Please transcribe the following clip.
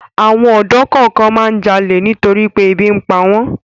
Àwọn ọ̀dọ́ kan máa ń jalè nítorí pé ebi ń pa wọ́n.